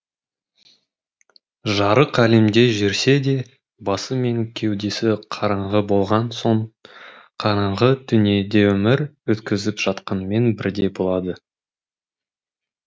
жарық әлемде жүрсе де басы мен кеудесі қараңғы болған соң қараңғы дүниеде өмір өткізіп жатқанмен бірдей болады